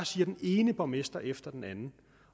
siger den ene borgmester efter den anden